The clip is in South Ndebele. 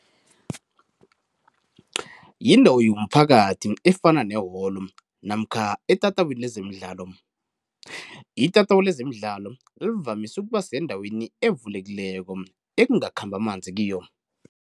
Yindawo omphakathi efana neholo namkha etatawini lezemidlalo, itatawu lezemidlalo livamise ukuba sendaweni evulekileko ekungakhambi amanzi kiyo.